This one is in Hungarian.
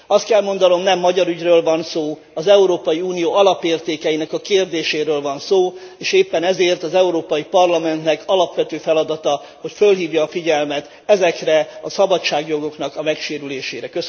Azt kell mondanom, nem magyar ügyről van szó, az Európai Unió alapértékeinek a kérdéséről van szó, és éppen ezért az Európai Parlamentnek alapvető feladata, hogy felhívja a figyelmet ezeknek a szabadságjogoknak a megsérülésére.